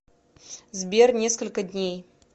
сбер несколько дней